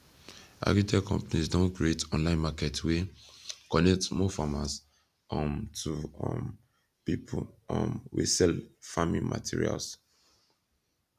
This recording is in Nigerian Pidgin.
agritech companies don create online market wey connect small farmers um to um pipu um wey sell farming materials